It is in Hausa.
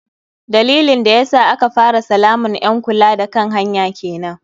Dalilin da yasa aka fara salaman ƴn kula da kan hanya kenan.